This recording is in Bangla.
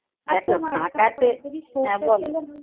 দেখো ছাকা তে। হ্যাঁ বল